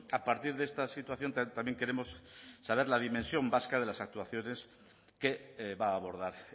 a partir de esta situación también queremos saber la dimensión vasca de las actuaciones que va a abordar